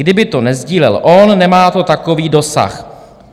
Kdyby to nesdílel on, nemá to takový dosah.